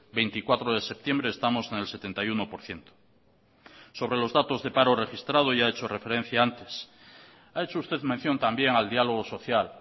veinticuatro de septiembre estamos en el setenta y uno por ciento sobre los datos de paro registrado ya he hecho referencia antes ha hecho usted mención también al diálogo social